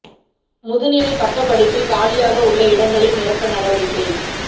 முதுநிலை பட்டப் படிப்பில் காலியாக உள்ள இடங்களை நிரப்ப நடவடிக்கை